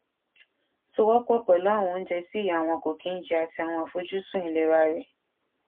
sowó pò pèlú àwọn oúnjẹ tí ìyá wọn kò kí n jẹ àti àwọn àfojúsùn ìlera rẹ